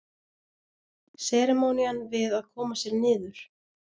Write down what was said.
Seremónían við að koma sér niður.